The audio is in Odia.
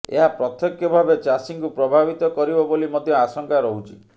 ଏହା ପ୍ରତ୍ୟକ୍ଷ ଭାବେ ଚାଷୀଙ୍କୁ ପ୍ରଭାବିତ କରିବ ବୋଲି ମଧ୍ୟ ଆଶଙ୍କା ରହୁଛି